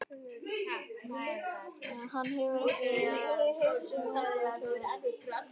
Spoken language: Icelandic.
Hann hefur ekki hitt sum okkar í tvö ár.